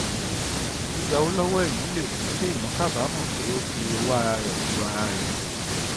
gbigba owó lówó èèyàn le mú kéèyàn kábàámò pé ó fi owó ara rẹ du ara rẹ